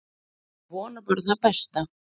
Maður vonar bara það besta.